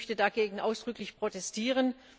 Ich möchte dagegen ausdrücklich protestieren!